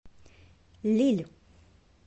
лилль